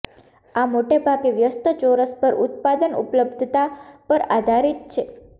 આ મોટે ભાગે વ્યસ્ત ચોરસ પર ઉત્પાદન ઉપલબ્ધતા પર આધારિત છે